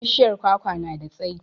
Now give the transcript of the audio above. Bishiyar kwakwa na da tsayi